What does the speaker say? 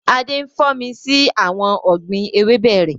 Adé ń fò mí sí àwọn ọ̀gbín ewébẹ̀ rẹ